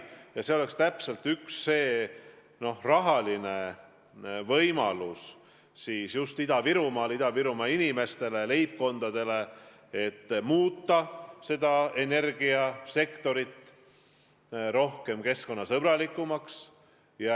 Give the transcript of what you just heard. Ja see oleks üks rahaline võimalus, et muuta Ida-Virumaal Ida-Virumaa inimeste, leibkondade huvides energiasektor keskkonnasõbralikumaks.